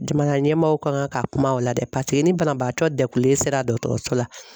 Jamana ɲɛmaaw kan ka kuma o la dɛ paseke ni banabaatɔ degunlen sera dɔgɔtɔrɔso la